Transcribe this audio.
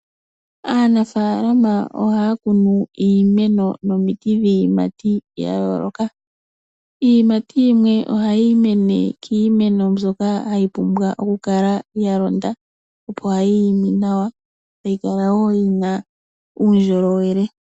Aanafalama ohaya kunu iimeno nomiti dhiiyimati ya yooloka. Iiyimati yimwe ohayi mene kiimeno mbyoka ya pumbwa okukala ya londa opo yiime nawa nokukala wo yina uundjolowele.